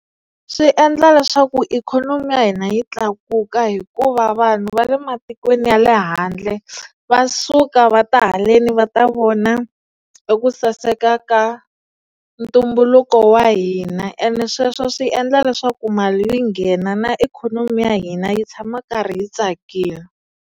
Swi endla leswaku ikhonomi ya hina yi tlakuka hikuva vanhu va le matikweni ya le handle va suka va ta haleni va ta vona eku saseka ka ntumbuluko wa hina ene sweswo swi endla leswaku mali yi nghena na ikhonomi ya hina yi tshama yi karhi yi tsakile.